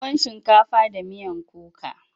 tuwon shinkafa da miyan kuka.